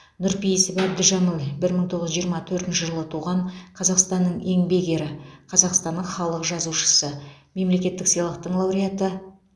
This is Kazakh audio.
нұрпейісов әбдіжәміл бір мың тоғыз жүз жиырма төртінші жылы туған қазақстанның еңбек ері қазақстанның халық жазушысы мемлекеттік сыйлықтың лауреаты